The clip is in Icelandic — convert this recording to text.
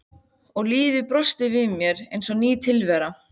Og lífið brosti við mér eins og ný tilvera.